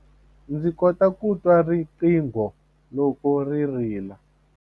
Ndzi kota ku twa riqingho loko ri rila.